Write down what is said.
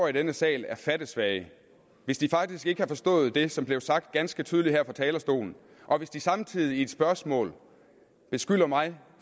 i denne sal er fattesvage hvis de faktisk ikke har forstået det som blev sagt ganske tydeligt her fra talerstolen og hvis de samtidig i et spørgsmål beskylder mig